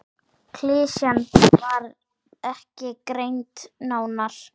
Klisjan var ekki greind nánar.